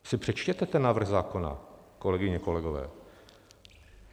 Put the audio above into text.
Si přečtěte ten návrh zákona, kolegyně, kolegové.